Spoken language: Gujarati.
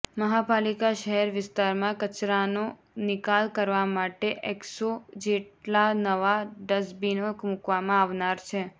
મહાપાલિકા શહેર વિસ્તારમાં કચરાનો નિકાલ કરવા માટે એકસો જેટલા નવા ડસ્ટબીનો મુકવામાં આવનાર છે